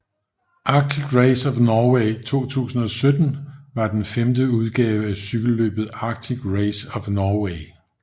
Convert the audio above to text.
Arctic Race of Norway 2017 var den femte udgave af cykelløbet Arctic Race of Norway